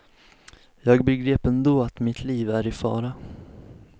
Jag begrep ändå att mitt liv är i fara.